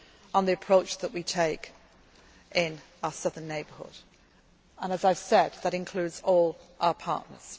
effectively on the approach that we take in our Southern Neighbourhood and, as I have said, that includes